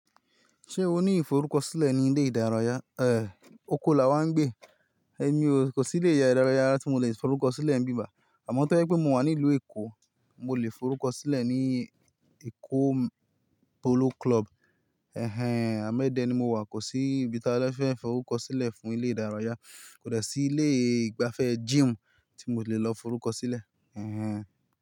Ṣé o ní ìforúkọ sílẹ̀ ní ilé ìdárayá? Ẹ̀, oko la wà ń gbé. Ẹ̀mí ò ko sí ilé ìdárayá tí mo lè forúkọ sílẹ̀ ń bíbài. Àmọ́ tó jé pé mo wà ní ìlú Èkó, mo lè forúkọ sílẹ̀ ní Èkó Polo Club. Ẹ̀hẹn. Àmo éde ni mo wà, kò sí ibi tába fẹ́ forúkọ sílẹ̀ fún ilé ìdárayá. Kò de sí ilé ìgbafẹ́ gym tí mo lè lọ forúkọ sílẹ̀. Ẹ̀hẹn.